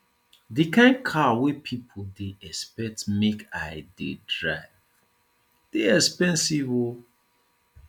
di kain car wey pipo dey expect make i dey drive dey expensive o